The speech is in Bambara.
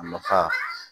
A nafa